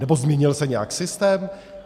Nebo změnil se nějak systém?